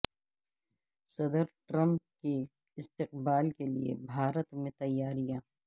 صدر ٹرمپ کے استقبال کے لیے بھارت میں تیاریاں